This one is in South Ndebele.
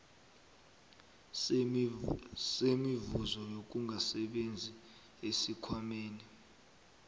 semivuzo yokungasebenzi esikhwameni